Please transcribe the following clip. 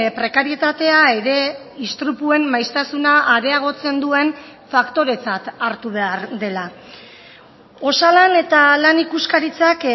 prekarietatea ere istripuen maiztasuna areagotzen duen faktoretzat hartu behar dela osalan eta lan ikuskaritzak